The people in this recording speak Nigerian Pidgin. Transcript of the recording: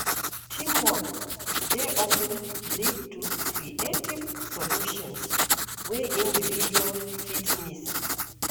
Teamwork dey of ten lead to creative solutions wey individuals fit miss.